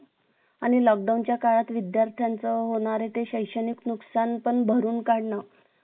आणि lockdown च्या काळात विद्यार्थ्यांचे होणारे ते शैक्षणिक नुकसान पण भरून काढणं